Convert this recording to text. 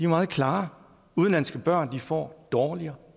meget klare udenlandske børn får dårligere